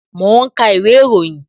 Mo ń ka ìwé ìròyìn